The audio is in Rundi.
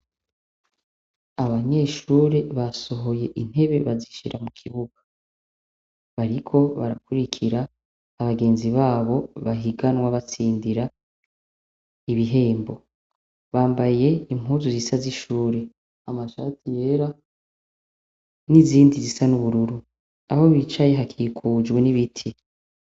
Abanyeshure basohoye intebe bazishira mukibuga bariko barakurikira abagenzi babo bahiganwa batsindira ibihembo, bambaye impuzu zisa zishure amashati yera n'izindi zisa n’ubururu, aho bicaye hakikujwe n'ibiti.